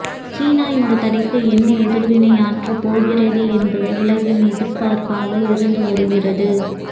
சீனா இந்தத் தடைக்கு என்ன எதிர்வினையாற்றப்போகிறது என்பது உலகின் எதிர்பார்ப்பாக இருந்து வருகிறது